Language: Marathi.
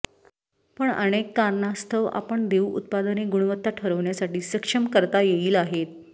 पण अनेक कारणास्तव आपण देऊ उत्पादने गुणवत्ता ठरवण्यासाठी सक्षम करता येईल आहेत